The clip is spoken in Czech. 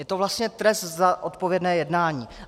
Je to vlastně trest za odpovědné jednání.